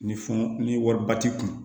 Ni funu ni wariba t'i kun